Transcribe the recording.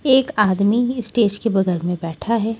एक आदमी स्टेज के बगल में बैठा है।